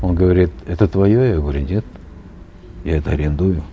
он говорит это твое я говорю нет я это арендую